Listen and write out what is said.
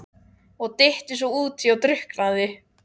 Og dytti svo útí og drukknaði!